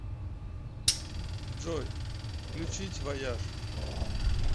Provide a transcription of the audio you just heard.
джой включить вояж